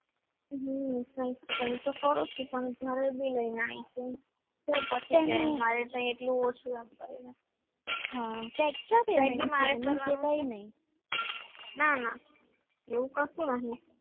હમ કરો છો પણ ઘરેથી લઈને આવી છું મારે ત્યાં એટલું ઓછું તો extra ના ના એવું કશું નથી